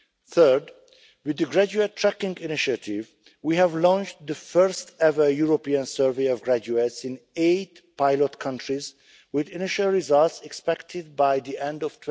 Third, with the graduate tracking initiative, we have launched the first ever European survey of graduates in eight pilot countries, with initial results expected by the end